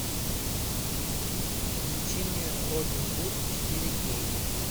включи мне робин гуд четыре кей